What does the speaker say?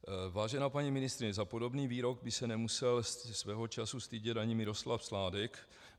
Vážená paní ministryně, za podobný výrok by se nemusel svého času stydět ani Miroslav Sládek.